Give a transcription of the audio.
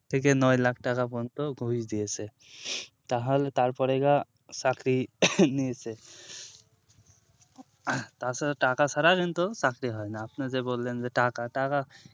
থেকে নয় lakh টাকা পর্যন্ত ঘুষ দিয়েছে তাহ তারপরে এবার চাকরি নিয়েছে তাছাড়া টাকা ছাড়া কিন্তু চাকরি হয়না আপনি যে বললেন টাকা টাকা